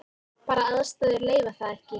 Bara aðstæður leyfa það ekki.